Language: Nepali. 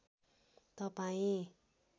तपाईँ